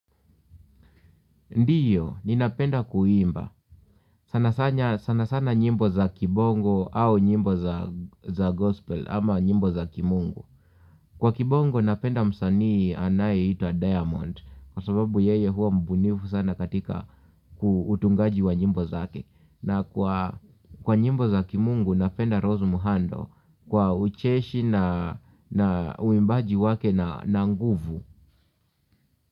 Ndio, ninapenda kuimba. Sana sana nyimbo za kibongo au nyimbo za gospel ama nyimbo za ki mungu. Kwa kibongo napenda msaani anaye hitwa Diamond, kwa sababu yeye huwa mbunivu sana katika utungaji wa nyimbo zake. Na kwa nyimbo za ki mungu napenda Rose Muhando, kwa ucheshi na uimbaji wake na nguvu.